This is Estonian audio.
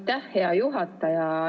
Aitäh, hea juhataja!